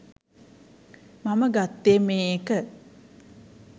මම ගත්තේ මේ එක